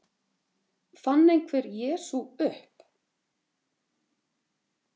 Fann einhver Jesú upp?